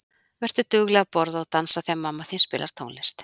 Vertu dugleg að borða og dansa þegar mamma þín spilar tónlist.